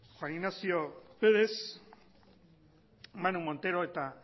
juan ignacio pérez manu montero eta